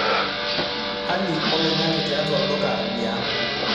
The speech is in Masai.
hali oloing'ang'e tiatua olduka li ang'